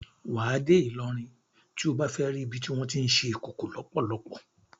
Wà á dé Ìlọrin tí o bá fẹ́ ri ibi tí wọ́n tí ń ṣe Ìkòkò lọ́pọ́lọ́pọ́.